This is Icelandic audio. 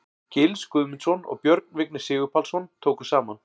Gils Guðmundsson og Björn Vignir Sigurpálsson tóku saman.